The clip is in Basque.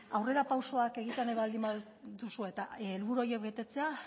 aurrerapausoak egitea nahi baldin baduzue eta helburu horiek betetzea